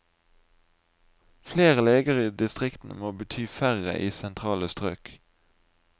Flere leger i distriktene må bety færre i sentrale strøk.